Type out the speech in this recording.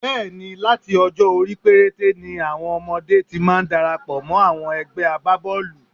Bẹ́ẹ̀ ni, láti ọjọ́-orí perete ni àwọn ọmọdé ti máa ń darapọ̀ mọ́ àwọn ẹgbé agbábọ́ọ̀lù.